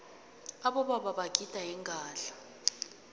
abobaba bagida ingadla